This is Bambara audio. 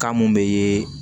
Kan mun be